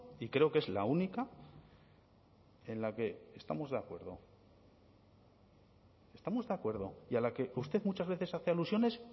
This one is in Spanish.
y creo que es la única en la que estamos de acuerdo estamos de acuerdo y a la que usted muchas veces hace alusiones